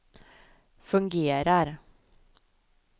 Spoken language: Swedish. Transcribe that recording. fungerar